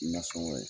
Nasɔngɔ ye